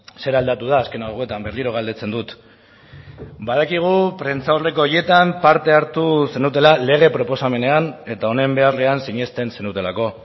zer aldatu da azken hauetan berriro galdetzen dut badakigu prentsaurreko horietan parte hartu zenutela lege proposamenean eta honen beharrean sinesten zenutelako